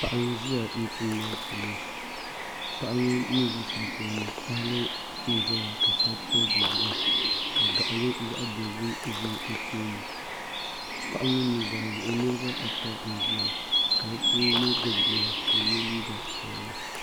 Paɣa n ʒiya chomdi achomo paɣa ŋo ni ʒi shɛli polo ŋo tahali n ʒɛya ka shɛli pili di zuɣu ka gaɣali zaɣa dozim ʒɛ o tooni paɣa ŋo nuzaa zuɣu nirabaata n ʒiya ka bi puuni yino gbubi bia ka o yɛ liiga piɛlli